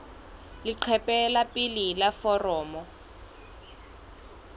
leqephe la pele la foromo